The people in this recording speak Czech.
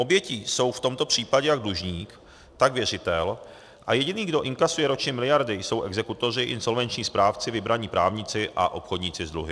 Obětí jsou v tomto případě jak dlužník, tak věřitel a jediný, kdo inkasuje ročně miliardy, jsou exekutoři, insolvenční správci, vybraní právníci a obchodníci s dluhy.